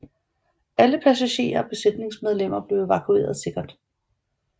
Alle passagerer og besætningsmedlemmer blev evakueret sikkert